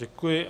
Děkuji.